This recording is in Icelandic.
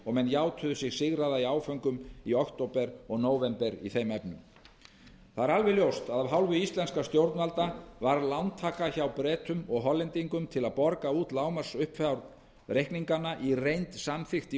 og menn játuðu sig sigraða í áföngum í október og nóvember í þeim efnum það er alveg ljóst að af hálfu íslenskra stjórnvalda var lántaka hjá bretum og hollendingum til að borga út lágmarksfjárhæð reikninganna í reynd samþykkt í